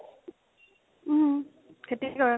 উম খেতি কৰে